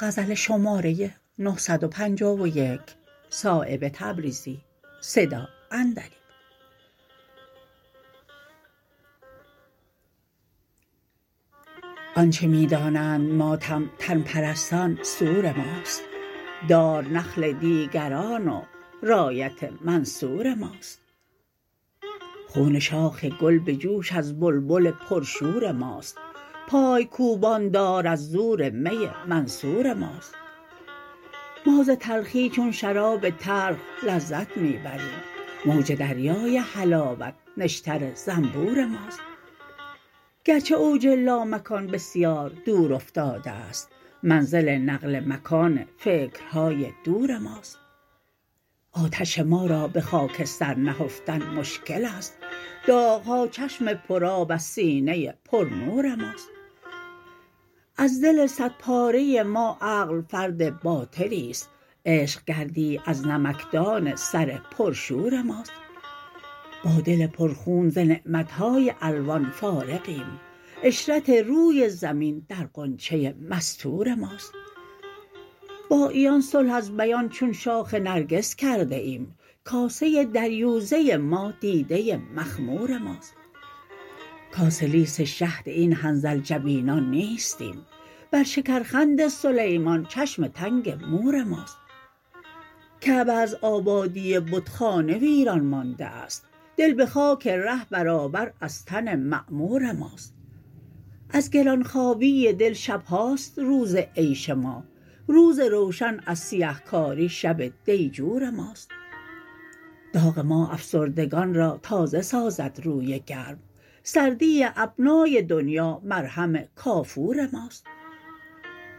آنچه می دانند ماتم تن پرستان سور ماست دار نخل دیگران و رایت منصور ماست خون شاخ گل به جوش از بلبل پر شور ماست پایکوبان دار از زور می منصور ماست ما ز تلخی چون شراب تلخ لذت می بریم موج دریای حلاوت نشتر زنبور ماست گرچه اوج لامکان بسیار دور افتاده است منزل نقل مکان فکرهای دور ماست آتش ما را به خاکستر نهفتن مشکل است داغ ها چشم پر آب از سینه پر نور ماست از دل صد پاره ما عقل فرد باطلی است عشق گردی از نمکدان سرپر شور ماست با دل پرخون ز نعمت های الوان فارغیم عشرت روی زمین در غنچه مستور ماست با عیان صلح از بیان چون شاخ نرگس کرده ایم کاسه دریوزه ما دیده مخمور ماست کاسه لیس شهد این حنظل جبینان نیستیم بر شکرخند سلیمان چشم تنگ مور ماست کعبه از آبادی بتخانه ویران مانده است دل به خاک ره برابر از تن معمور ماست از گرانخوابی دل شبهاست روز عیش ما روز روشن از سیه کاری شب دیجور ماست داغ ما افسردگان را تازه سازد روی گرم سردی ابنای دنیا مرهم کافور ماست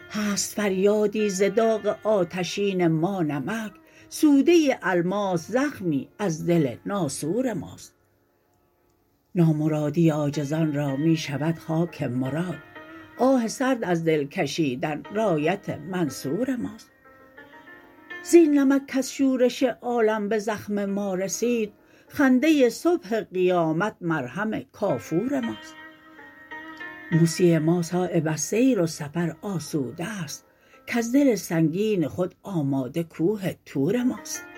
هست فریادی ز داغ آتشین ما نمک سوده الماس زخمی از دل ناسور ماست نامرادی عاجزان را می شود خاک مراد آه سرد از دل کشیدن رایت منصور ماست زین نمک کز شورش عالم به زخم ما رسید خنده صبح قیامت مرهم کافور ماست موسی ما صایب از سیر و سفر آسوده است کز دل سنگین خود آماده کوه طور ماست